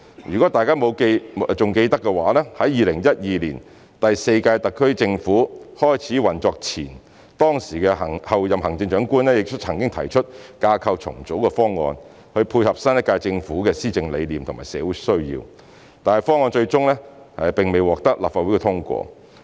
如果大家還記得，在2012年第四屆特區政府開始運作前，當時的候任行政長官亦曾提出架構重組的方案，以配合新一屆政府的施政理念及社會需要，但方案最終並未獲立法會通過。